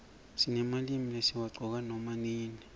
sinemalimi lesiwaqcoka nama nini